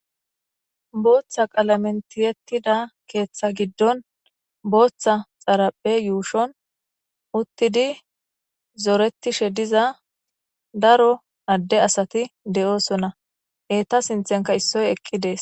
Booththa qalamentiyettida keeththa giddon booththa xaraphe yuushon uttidi zoretishe diza daro adde asati de7oosona heta sinthenka issoy eqqi dees